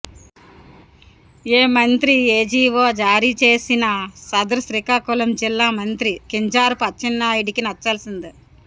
ఏ మంత్రి ఏ జీవో జారీ చేసినా సదరు శ్రీకాకుళం జిల్లా మంత్రి కింజారపు అచ్చెన్నాయుడికి నచ్చాల్సిందే